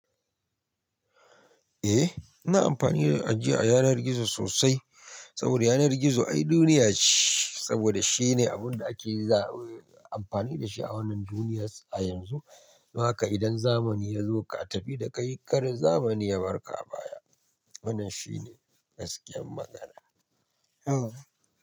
Eh, ina amfani da ajiya a yanar gizo sosai saboda yanar gizo ai duniya ce, saboda shine abin da ake za-- amfani da shi a wannan duniyas a yanzu. Don haka idan zamani ya zo ka tafi da kai kar zamani ya barka baya. Wannan shine gaskiyar magana.